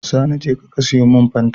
Sani jeka ka siyo mun fanta